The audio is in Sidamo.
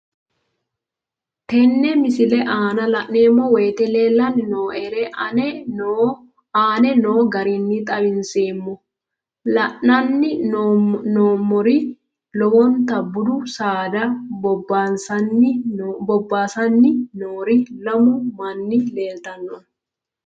Tenne misile aana laeemmo woyte leelanni noo'ere aane noo garinni xawiseemmo. La'anni noomorri lowota buudu saada bobaassanni noori lamu manni leelitanoe.